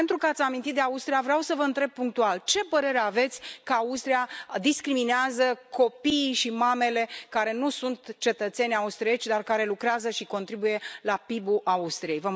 Pentru că ați amintit de Austria, vreau să vă întreb punctual ce părere aveți că Austria discriminează copiii și mamele care nu sunt cetățeni austrieci, dar care lucrează și contribuie la PIB ul Austriei?